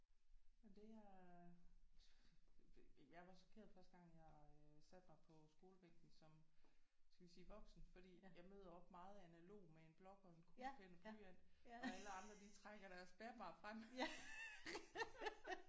Og det jeg jeg var chokeret første gang jeg øh satte mig på skolebænken som skal vi sige voksen? fordi jeg møder op meget analog med en blok og en kuglepen og en blyant og alle andre de trækker deres bærbar frem